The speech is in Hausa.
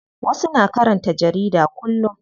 Wasu na karanta jarida kullum.